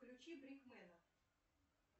включи брик мэна